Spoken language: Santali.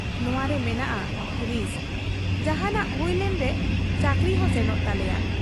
ᱱᱚᱶᱟᱨᱮ ᱢᱮᱱᱟᱜ ᱟ ᱨᱤᱥᱠ ᱾ ᱡᱟᱦᱟᱸᱱᱟᱜ ᱦᱩᱭᱞᱮᱱ ᱨᱮ ᱪᱟᱹᱠᱨᱤ ᱦᱚᱸ ᱥᱮᱱᱚᱜ ᱛᱟᱞᱮᱭᱟ ᱾